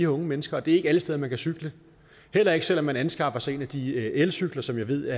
unge mennesker og det er ikke alle steder man kan cykle heller ikke selv om man anskaffer sig en af de elcykler som jeg ved